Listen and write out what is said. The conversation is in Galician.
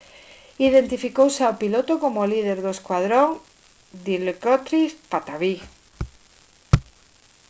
identificouse ao piloto como o líder do escuadrón dilokrit pattavee